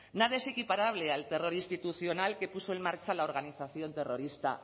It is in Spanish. nada es equiparable al terror institucional que puso en marcha la organización terrorista